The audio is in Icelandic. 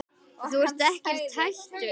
Þú ert ekkert hættur?